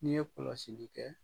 N'i ye kɔlɔsili kɛ.